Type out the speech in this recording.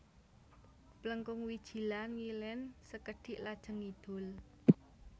Plengkung Wijilan ngilen sekedhik lajeng ngidul